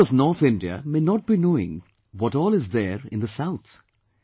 People of North India may not be knowing what all is there in the South